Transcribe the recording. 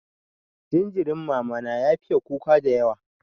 Jinjirin mama na ya fiye kuka dayawa.